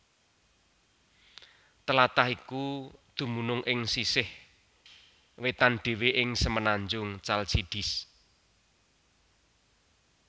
Tlatah iku dumunung ing sisih paling wétan ing semenanjung Chalcidice